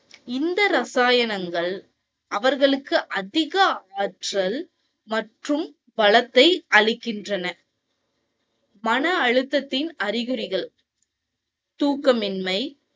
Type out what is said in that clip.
இந்த இரசாயனங்கள் அவர்களுக்கு அதிக ஆற்றல் மற்றும் பலத்தை அளிக்கின்றன. மன அழுத்தத்தின் அறிகுறிகள். தூக்கமின்மை